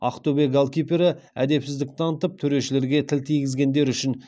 ақтөбе голкипері әдепсіздік танытып төрешілерге тіл тигізгендері үшін